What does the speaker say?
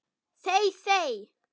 þey þey!